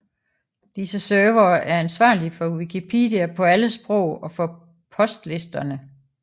Disse servere er ansvarlige for Wikipedia på alle sprog og for postlisterne